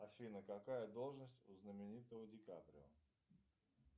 афина какая должность у знаменитого ди каприо